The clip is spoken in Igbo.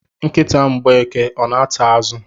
Nkịta Mgbeke ọ na-ata azụ?